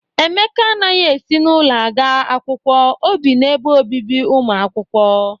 Emeka anaghị esi n'ụlọ aga akwụkwọ, o bi n'ebe obibi ụmụ akwụkwọ.